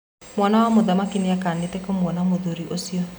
mwana wa mũthamaki nĩakenete kũmwona mũthuri ũcio.